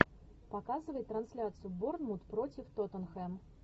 показывай трансляцию борнмут против тоттенхэм